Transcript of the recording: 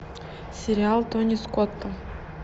сериал тони скотта